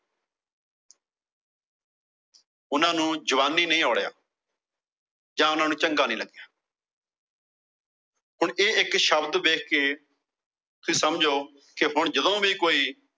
ਉਹਨਾਂ ਨੂੰ ਜ਼ੁਬਾਨੀ ਨਹੀਂ ਔੜਿਆਂ। ਜ਼ਾ ਉਹਨਾਂ ਨੂੰ ਚੰਗਾ ਨਹੀਂ ਲੱਗਾ। ਹੁਣ ਇਹ ਇੱਕ ਸ਼ਬਦ ਵੇਖ ਕੇ ਸਮਝੋ ਵੀ ਹੁਣ ਜਦੋ ਵੀ ਕੋਈ